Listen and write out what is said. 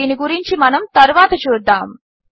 దీని గురించి మనము తరువాత చూద్దాము